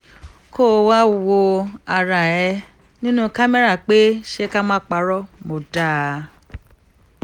kó o wáá wo ara ẹ nínú kámẹ́rà pé ṣé ká má parọ́ mọ́ dáa